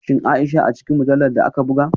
Shin Aisha a cikin mujallar da aka buga?